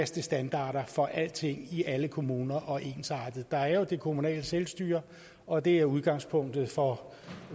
standarder for alting i alle kommuner og ensarte dem der er jo det kommunale selvstyre og det er udgangspunktet for